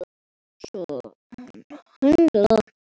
Þetta var bara heppni.